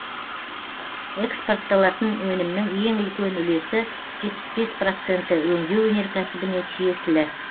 экспортталатын өнімнің ең үлкен үлесі жетпіс бес проценті өңдеу өнеркәсібіне тиесілі